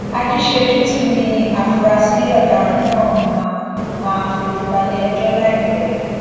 ajíṣẹjútù ni àfúráṣí ọdaràn náà máa máa fojú balẹẹjọ láìpẹ